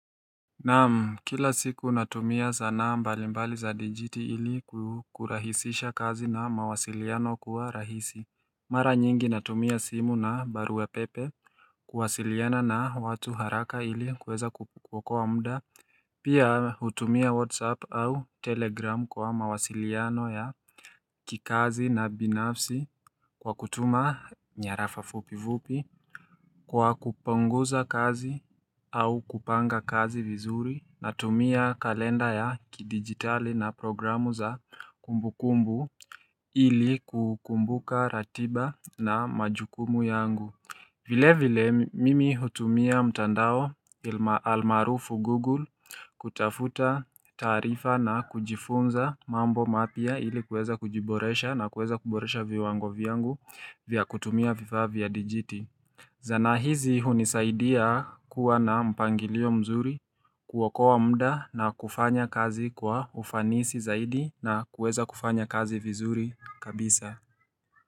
Naam kila siku natumia zana mbalimbali za dijiti ili kukurahisisha kazi na mawasiliano kuwa rahisi Mara nyingi natumia simu na barua pepe kuwasiliana na watu haraka ili kuweza kukuokoa mda Pia hutumia whatsapp au telegram kwa mawasiliano ya kikazi na binafsi Kwa kutuma nyarafa fupivupi Kwa kuponguza kazi au kupanga kazi vizuri na tumia kalenda ya kidigitali na programu za kumbu kumbu ili kukumbuka ratiba na majukumu yangu vile vile mimi hutumia mtandao almarufu google kutafuta taarifa na kujifunza mambo mapya ili kueza kujiboresha na kueza kuboresha viwango vyangu vya kutumia vifaa vya digiti Zana hizi hunisaidia kuwa na mpangilio mzuri kuokowa mda na kufanya kazi kwa ufanisi zaidi na kueza kufanya kazi vizuri kabisa.